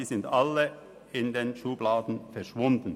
sie sind aber alle in den Schubladen verschwunden.